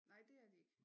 Nej det er de ikke